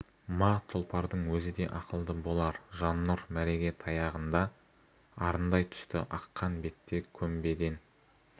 ма тұлпардың өзі де ақылды болар жаннұр мәреге таяғында арындай түсті аққан бетте көмбеден өте